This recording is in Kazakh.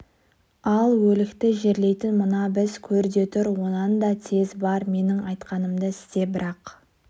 ал өлікті жерлейтін мына біз көр де тұр онан да тез бар менің айтқанымды істе бірақ